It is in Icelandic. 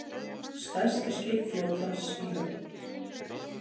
Stærsta skip flotans í höfn